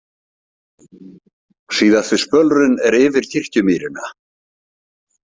Síðasti spölurinn er yfir Kirkjumýrina.